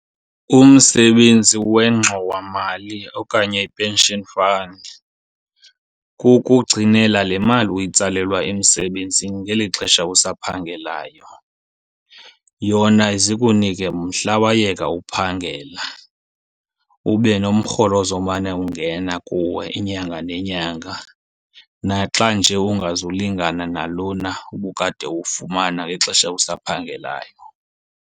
Umsebenzi wengxowamali okanye i-pension fund kukugcinela le mali uyitsalelwa emsebenzini ngeli xesha usaphangelayo. Yona ize ikunike mhla wayeka uphangela ube nomrholo ozomane ungena kuwe inyanga nenyanga, naxa nje ungazulingana nalona ubukade uwufumana ngexesha usaphangelayo.